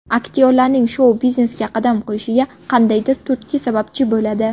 Aktyorlarning shou-biznesga qadam qo‘yishiga qandaydir turtki sababchi bo‘ladi.